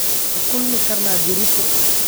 Ma kulmi karnaa berrito?